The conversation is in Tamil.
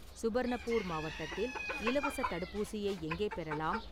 சுபர்ணப்பூர் மாவட்டத்தில் இலவசத் தடுப்பூசியை எங்கே பெறலாம்?